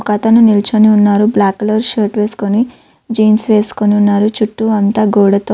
ఒక అతను నించొని ఉన్నారు. బ్లాక్ కలర్ షర్ట్ వేసుకొని జీన్స్ వేసుకొని ఉన్నారు. చూస్తూ అంతా గోడతో--